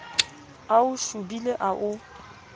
a o shobile a o